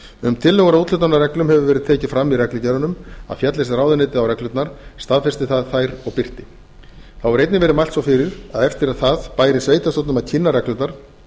um tillögur að úthlutunarreglum hefur verið tekið fram í reglugerðunum að féllist ráðuneytið á reglurnar staðfesti það þær og birti þá var einnig mælt svo fyrir að eftir það bæri sveitarstjórnum að kynna reglurnar